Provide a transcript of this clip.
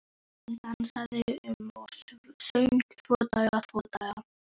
Hann dansaði um og söng: Tvo daga, tvo daga